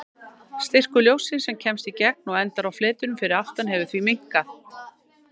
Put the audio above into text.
Styrkur ljóssins sem kemst í gegn og endar á fletinum fyrir aftan hefur því minnkað.